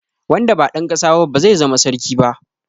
Wanda ba dan ƙasa ba ba zai zama sarki ba.